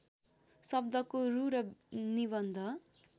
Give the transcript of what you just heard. शब्दको रु र निबन्ध